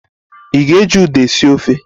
Ị ga-eji Uda esi ofe?